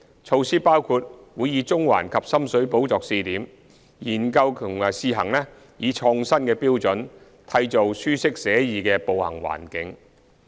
措施包括將會以中環及深水埗作試點，研究及試行以創新的方法，締造舒適寫意的步行環境。